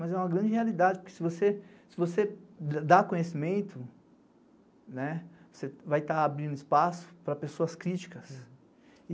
Mas é uma grande realidade, porque se você dá conhecimento, né, você vai estar abrindo espaço para pessoas críticas.